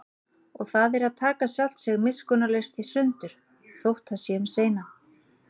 Og það er að taka sjálft sig miskunnarlaust í sundur, þótt það sé um seinan.